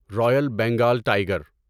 Royal Bengal tiger